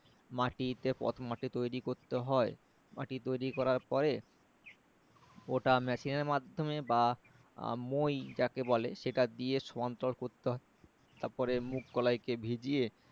মাটিতে প্রথমে মাটি তৈরি করতে হয় মাটি তৈরি করার পরে ওটা machine এর মাধমে বা মই যাকে বলে দিয়ে সমান্তরাল করতে হয় তারপরে মুগ কলাই কে ভিজিয়ে